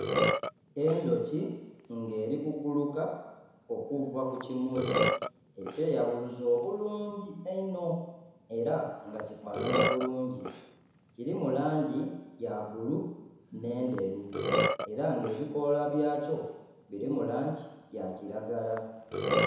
Endhuki nga eli kuguluka okuva ku kimuli ekyeyabuluza obulungi einho era nga kifanhanha bulungi. Kilimu langi ya bbulu n'enderu era nga ebikoola bya kyo bilimu langi ya kilagala.